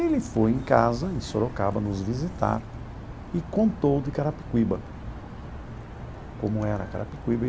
Ele foi em casa, em Sorocaba, nos visitar e contou de Carapicuíba, como era Carapicuíba.